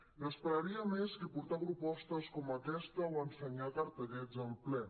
n’espe·raria més que portar propostes com aquesta o ensenyar cartellets al ple